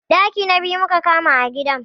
Ɗaki na biyu muka kama a gidan